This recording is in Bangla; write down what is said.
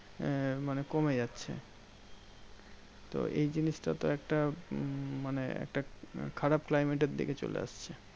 আহ মানে কমে যাচ্ছে। তো এই জিনিসটা তো একটা উম মানে একটা খারাপ climate এর দিকে চলে আসছে।